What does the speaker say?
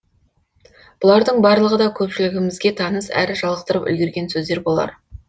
бұлардың барлығы да көпшілігімізге таныс әрі жалықтырып үлгерген сөздер болар